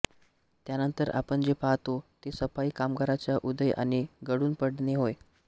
त्यानंतर आपण जे पाहतो ते सफाई कामगारचा उदय आणि गळून पडणे होय